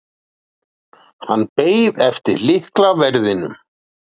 Hann beið eftir lyklaverðinum.